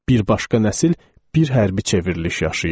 Bir başqa nəsil bir hərbi çevriliş yaşayıb.